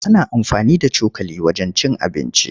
Ana amfani da cokali wajen cin abinci.